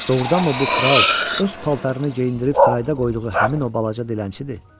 Doğrudanmı bu kral öz paltarını geyindirib sırayda qoyduğu həmin o balaca dilənçidir?